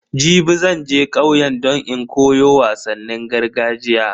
Jibi zan je kauye don in koyo wasannin gargajiya.